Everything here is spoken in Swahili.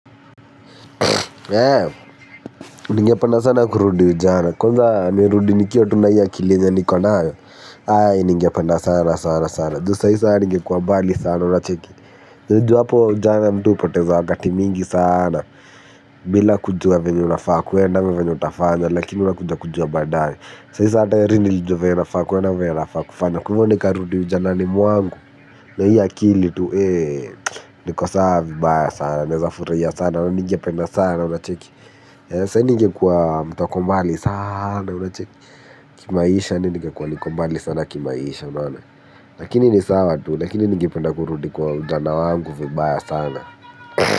Eee, ningependa sana kurudi ujana. Kwanza, nirudi nikiwa tu na hii akili yenye niko nayo, ae, ningependa sana sana sana. Tho, saisa nige kuwabali sana, unacheki. Niju hapo ujana mtu poteza wakati mingi sana, bila kujua vinye unafaa kuenda, vinye utafanya, lakini unakujua kujua badae. Saisa ata heri ni lijua vinye unafaa kuenda vinyo unafaa kufanya. Kwa nika rudi ujana ni mwangu, na hii akili tu, heee, niko sawavibaya sana, nezafuraia sana, uningependa sana, unacheki. Saini ngekuwa mtokombali sana. Kimaisha nge kwa likombali sana kimaisha. Lakini ni sawa tu. Lakini nge penda kurudi kwa jana wangu vibaya sana.